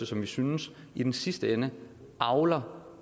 som vi synes i den sidste ende avler